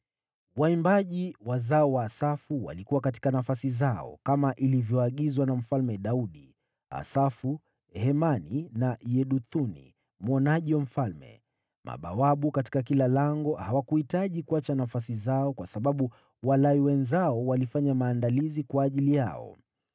Waimbaji, wazao wa Asafu, walikuwa katika nafasi zao, kama ilivyoagizwa na Mfalme Daudi, Asafu, Hemani na Yeduthuni mwonaji wa Mfalme. Mabawabu katika kila lango hawakuhitaji kuacha nafasi zao kwa sababu Walawi wenzao walifanya maandalizi kwa ajili yao.